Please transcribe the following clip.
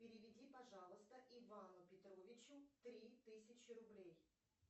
переведи пожалуйста ивану петровичу три тысячи рублей